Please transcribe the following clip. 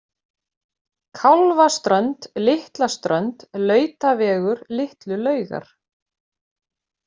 Kálfaströnd, Litlaströnd, Lautavegur, Litlu Laugar